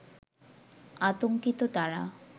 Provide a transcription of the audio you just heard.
আতংকিত তারা